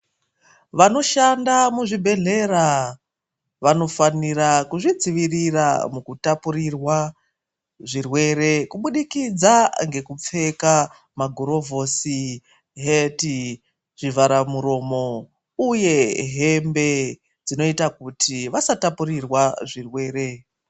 Vanoshanda muzvibhedhlera vanofanira kuzvidzivirira mukutaputirirwa zvirwere kubudikidza ngekupfeka magurovhosi, heti, zvivhara muromo uye hembe dzinoita kuti vasatapirirwa zvirwere.